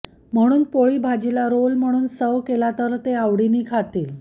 म्हणून पोळी भाजीला रोल म्हणून सर्व्ह केला तर ते आवडीने खातील